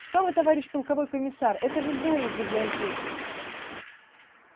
что вы товарищ полковой комиссар это же зоя из библиотеки